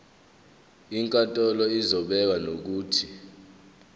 inkantolo izobeka nokuthi